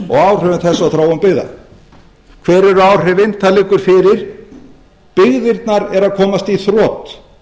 og áhrifum þess á þróun byggða hver eru áhrifin það liggur fyrir byggðirnar eru að komast í þrot